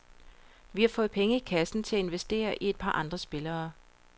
Vi har fået penge i kassen til at investere i et par andre spillere.